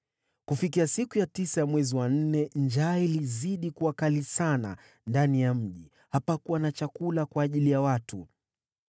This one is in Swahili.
Ilipowadia siku ya tisa ya mwezi wa nne, njaa ikazidi kuwa kali sana ndani ya mji, hadi hapakuwa na chakula kwa ajili ya watu.